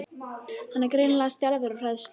Hann er greinilega stjarfur af hræðslu.